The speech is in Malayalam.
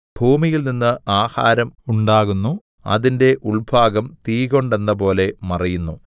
ഭൂമിയിൽനിന്ന് ആഹാരം ഉണ്ടാകുന്നു അതിന്റെ ഉൾഭാഗം തീകൊണ്ടെന്നപോലെ മറിയുന്നു